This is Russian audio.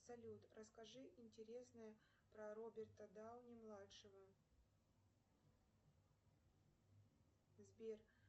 салют расскажи интересное про роберта дауни младшего сбер